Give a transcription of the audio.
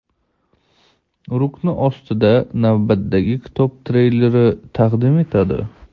rukni ostida navbatdagi kitob-treylerni taqdim etadi.